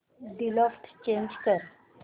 default change कर